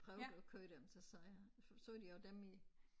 Prøvede at køre dem så sagde han så de også dem i